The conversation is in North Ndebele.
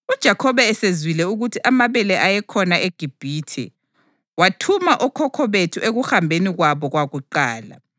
UJakhobe esezwile ukuthi amabele ayekhona eGibhithe, wathuma okhokho bethu ekuhambeni kwabo kwakuqala.